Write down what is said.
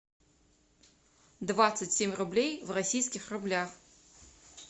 двадцать семь рублей в российских рублях